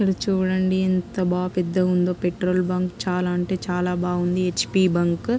ఇక్కడ చూడండిఎంత బాగా పెద్దగా ఉందో పెట్రోల్ బంక్ . చాలా అంటే చాలా బాగుంది. H P bunk .